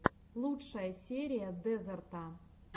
лучшая серия дезерта